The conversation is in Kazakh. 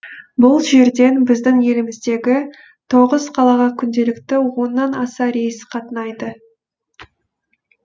бұл жерден біздің еліміздегі тоғыз қалаға күнделікті оннан аса рейс қатынайды